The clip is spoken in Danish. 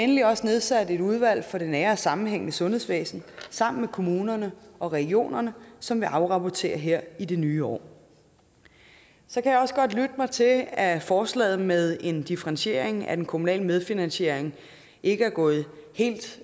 vi også nedsat et udvalg for det nære og sammenhængende sundhedsvæsen sammen med kommunerne og regionerne som vil afrapportere her i det nye år så kan jeg også godt lytte mig til at at forslaget med en differentiering af den kommunale medfinansiering ikke er gået helt